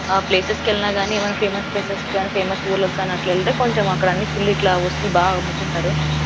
ఆ ప్లేసెస్ కి వెళ్ళినా గాని ఏమైనా ఫేమస్ ప్లేసెస్ కి కానీ ఊర్లకి గాని అట్లా వెళ్తే కొంచెం అక్కడ అన్ని ఫుల్ ఇట్లా వస్తువులు బాగా అమ్ముతుంటారు.